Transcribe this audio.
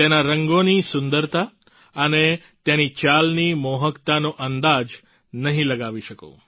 તેના રંગોની સુંદરતા અને તેની ચાલની મોહકતાનો અંદાજ નહીં લગાવી શકો